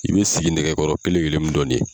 I bɛ siginɛgɛkɔrɔ kelen kelen mun dɔn nin ye.